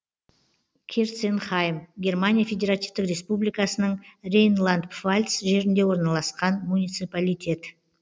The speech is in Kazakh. керценхайм германия федеративтік республикасының рейнланд пфальц жерінде орналасқан муниципалитет